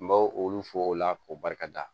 N b'o olu fɔ o la k'o barika da